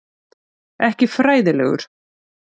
Ekki fræðilegur.